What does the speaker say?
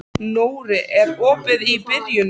Nóri, er opið í Brynju?